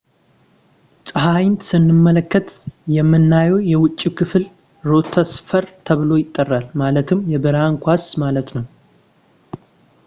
ፀሐይን ስንመለከት የምናየው የውጭው ክፍል ፎቶስፌር ተብሎ ይጠራል ፣ ማለትም የብርሃን ኳስ” ማለት ነው